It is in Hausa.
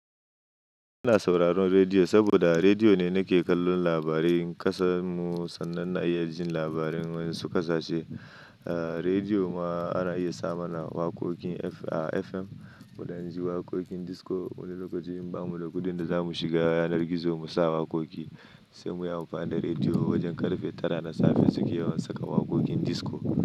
Ina sauraron rediyo saboda rediyo ne nake kallon labarin kasar mu sannan na iya jin labarin wasu ƙasashe. Rediyo ma ana iya samu na waƙoƙin F, a FM, mu dan ji waƙoƙin disco wani lokaci in ba mu da kuɗin da za mu shiga yanar gizo mu sa waƙoƙi sai mu yi amfani da rediyo wajen karfe tara na safe suke yawan saka waƙoƙin disco.